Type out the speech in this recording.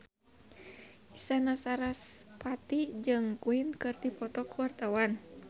Isyana Sarasvati jeung Queen keur dipoto ku wartawan